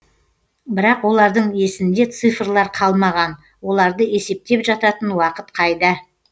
бірақ олардың есінде цифрлар қалмаған оларды есептеп жататын уақыт қайда